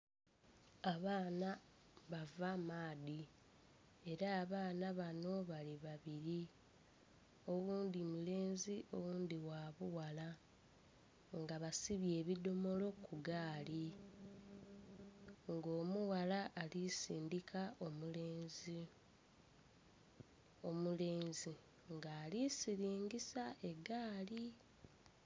Abaana bava maadhi era abaana banho bali babiri oghundhi mulenzi oghundhi gha bughala nga basibye ebidhomolo ku gaali, nga omughala ali sindhika omulenzi omulenzi nga ali siringisa egaali.